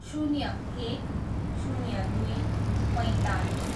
शून्य एक, शून्य दुई, पैँतालिस